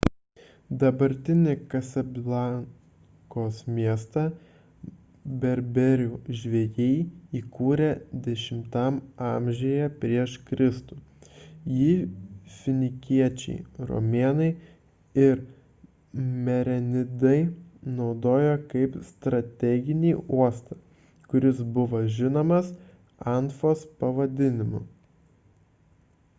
dabartinį kasablankos miestą berberų žvejai įkūrė x a pr kr jį finikiečiai romėnai ir merenidai naudojo kaip strateginį uostą kuris buvo žinomas anfos pavadinimu